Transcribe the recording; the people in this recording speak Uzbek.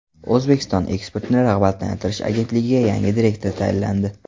O‘zbekiston Eksportni rag‘batlantirish agentligiga yangi direktor tayinlandi.